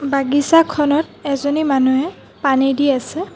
বাগিছাৰখনত এজনী মানুহে পানী দি আছে।